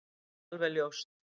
Það er alveg ljóst